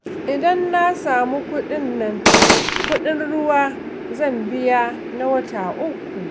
Idan na samu kuɗin nan, kuɗin ruwa zan biya na wata uku